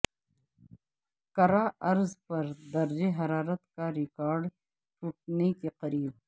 کرہ ارض پر درجہ حرارت کا ریکارڈ ٹوٹنے کے قریب